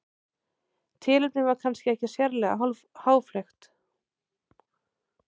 Tilefnið var kannski ekki sérlega háfleygt.